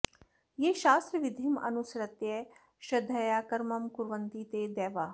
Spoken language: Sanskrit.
ये शास्त्रविधिम् अनुसृत्य श्रद्धया कर्म कुर्वन्ति ते दैवाः